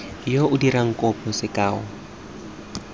yo o dirang kopo sekao